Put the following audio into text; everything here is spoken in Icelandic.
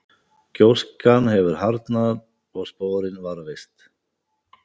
Gjóskan hefur síðan harðnað og sporin varðveist.